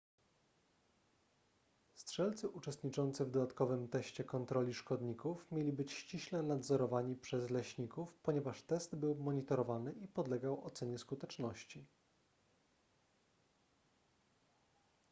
strzelcy uczestniczący w dodatkowym teście kontroli szkodników mieli być ściśle nadzorowani przez leśników ponieważ test był monitorowany i podlegał ocenie skuteczności